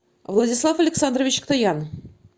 владислав александрович ктоян